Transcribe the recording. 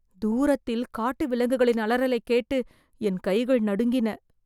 தூரத்தில் காட்டு விலங்குகளின் அலறலைக் கேட்டு என் கைகள் நடுங்கின.